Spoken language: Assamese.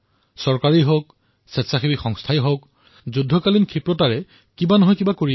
এয়া চৰকাৰেই হওক অথবা এনজিঅয়েই হওক ইয়াক যুদ্ধকালীন গতিত আগবঢ়াই নিয়া হৈছে